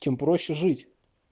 тем проще жить